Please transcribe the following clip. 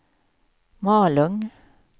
Malung